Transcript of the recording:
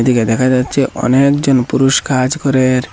এইদিকে দেখা যাচ্ছে অনেক জন পুরুষ কাজ করে।